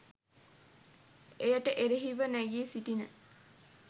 එයට එරෙහිව නැගී සිටින